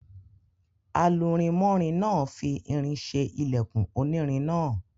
Alurinmọ́rin náà fi irin ṣe ilẹkùn onírin náà.